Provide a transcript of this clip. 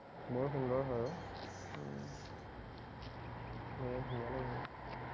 বৰ সুন্দৰ হয় উম বৰ ধুনীয়া লাগিব